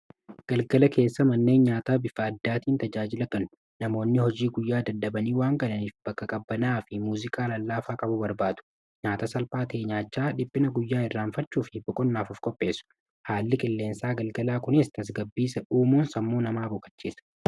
Galgala keessa manneen nyaata bifa addaatiin tajaajila tanu namoonni hojii guyyaa daddabanii waangalaniif bakka-qabbanaa fi muuziqaa lallaafaa qabu barbaadu nyaata salphaa teenyaachaa dhiphina guyyaa irraanfachuufi buqonnaafuf qopheessu haalli qilleensaa galgalaa kuniis tasgabbiisa duumuun sammuu namaa boqachiisa.